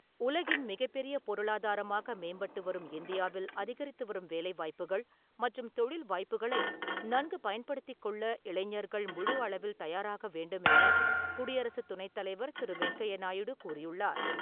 உலகின் மிகப் பெரிய பொருளாதாரமாக மேம்பட்டு வரும் இந்தியாவில் அதிகரித்து வரும் வேலை வாய்ப்புகள் மற்றும் தொழில் வாய்ப்புகளை நன்கு பயன்படுத்திக் கொள்ள இளைஞர்கள் முழு அளவில் தயாராக வேண்டும் என குடியரசு துணைத் தலைவர் திரு வெங்கையநாயுடு கூறி உள்ளார்.